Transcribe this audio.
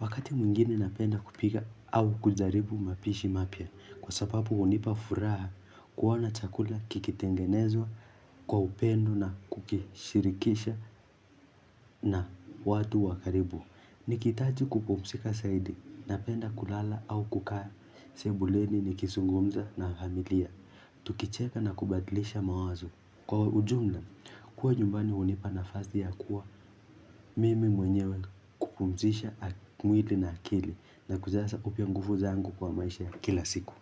Wakati mwingine napenda kupika au kujaribu mapishi mapya. Kwa sababu hunipa furaha kuoana chakula kikitengenezwa kwa upendo na kukishirikisha na watu wakaribu. Nikihitaji kupumzika zaidi napenda kulala au kukaa sebuleni nikizungumza na familia. Tukicheka na kubadlisha mawazo. Kwa ujumla, kuwa nyumbani hunipa nafasi ya kuwa mimi mwenyewe kupumzisha mwili na akili na kujaza upya nguvu zangu kwa maisha kila siku.